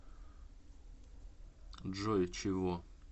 джой чего